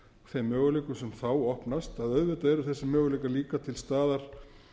þeim möguleikum sem opnast að auðvitað eru þessir möguleikar líka til staðar